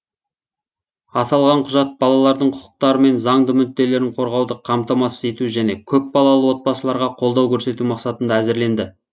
аталған құжат балалардың құқықтары мен заңды мүдделерін қорғауды қамтамасыз ету және көпбалалы отбасыларға қолдау көрсету мақсатында әзірленді